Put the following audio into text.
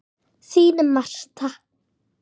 Þín, Martha.